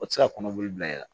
O tɛ se ka kɔnɔboli bila i la